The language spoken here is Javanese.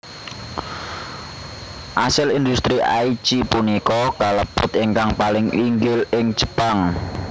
Asil industri Aichi punika kalebet ingkang paling inggil ing Jepang